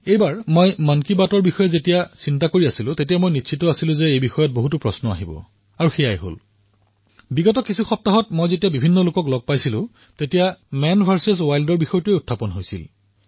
এইবাৰ যেতিয়া মন কী বাতৰ বিষয়ে মই চিন্তা কৰি আছিলো তেতিয়া এই সন্দৰ্ভত যে প্ৰশ্ন উত্থাপিত হব সেই সম্পৰ্কে মই নিশ্চিত আছিলো আৰু এনেকুৱা হৈছে যে যোৱা সপ্তাহকেইটাত মই যলৈ গৈছো তাতেই মেন ভাৰ্চেছ ৱাইল্ডৰ কথা ওলাইছে